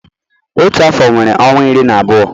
Otu afọ nwere ọnwa iri na abụọ